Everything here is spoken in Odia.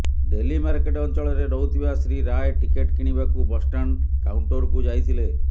ଡେଲିମାର୍କେଟ ଅଂଚଳରେ ରହୁଥିବା ଶ୍ରୀ ରାୟ ଟିକେଟ କିଣିବାକୁ ବସଷ୍ଟାଣ୍ଡ କାଉଟଂରକୁ ଯାଇଥିଲେ